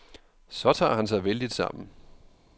Så tager han sig vældigt sammen.